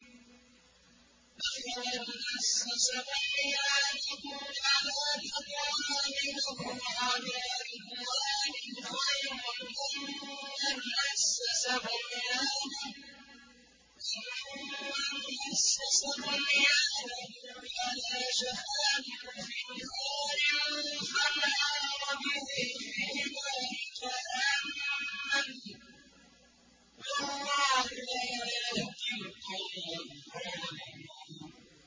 أَفَمَنْ أَسَّسَ بُنْيَانَهُ عَلَىٰ تَقْوَىٰ مِنَ اللَّهِ وَرِضْوَانٍ خَيْرٌ أَم مَّنْ أَسَّسَ بُنْيَانَهُ عَلَىٰ شَفَا جُرُفٍ هَارٍ فَانْهَارَ بِهِ فِي نَارِ جَهَنَّمَ ۗ وَاللَّهُ لَا يَهْدِي الْقَوْمَ الظَّالِمِينَ